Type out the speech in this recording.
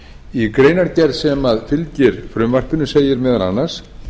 í greinargerð sem fylgir með frumvarpinu segir meðal annars